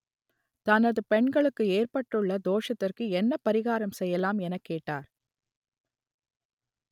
தனது பெண்களுக்கு ஏற்பட்டுள்ள தோஷத்திற்கு என்ன பரிகாரம் செய்யலாம் எனக் கேட்டார்